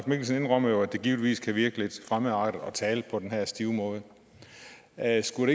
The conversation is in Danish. mikkelsen indrømmer jo at det givetvis kan virke lidt fremadrettet at tale på den her stive måde altså